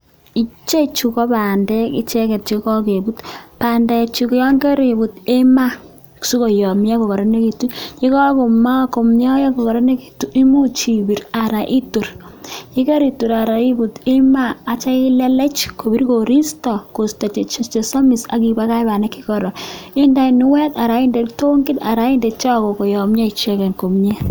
Ichechu ko bandek icheket chekokebut, bandechu yoon koribut imaa sikoyomnyo kokoronekitu, yekokomoyo kokoronekitu imuch ibir aran itor aran ibut imaa akityo ilelech kobir koristo kosto chesomis ak ibakach bandek chekoron, indoi kinuet aran inde kitongit anan inde choko koyomnyo icheket komnye.